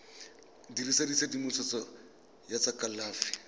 dirisa tshedimosetso ya tsa kalafi